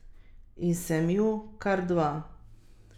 Nasprotno, pajdaša je opazoval z zaskrbljenim izrazom na obrazu.